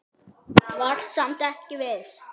Var samt ekki viss.